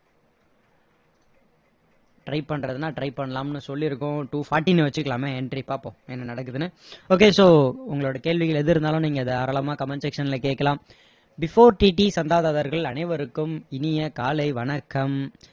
try பணறதுன்னா try பண்ணலாம்னு சொல்லி இருக்கோம் two forty ன்னு வச்சிக்கலாமே entry பார்ப்போம் என்ன நடக்குதுன்னு okay so உங்களோட கேள்விகள் எது இருந்தாலும் நீங்க தாராளமா comment section ல கேக்கலாம் before TT சந்தாதாரர்கள் அனைவருக்கும் இனிய காலை வணக்கம்